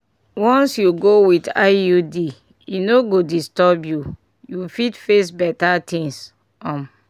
once you go with iud e no go disturb you you fit face better things um!